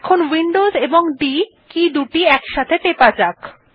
এখন Windows key ও D একসাথে টেপা যাক